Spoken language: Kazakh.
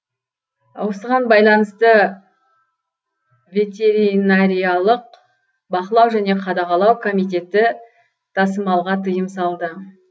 осыған байланысты ветеринариялық бақылау және қадағалау комитеті тасымалға тыйым салды